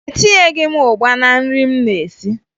Etinyeghi m ụgba na nri m na-esi